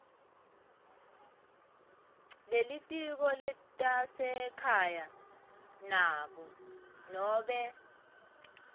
lelitiko letasekhaya nobe